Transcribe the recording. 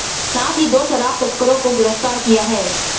साथ ही दो शराब तस्करों को भी गिरफ्तार किया है